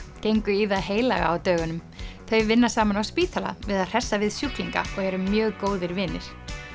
gengu í það heilaga á dögunum þau vinna saman á spítala við að hressa við sjúklinga og eru mjög góðir vinir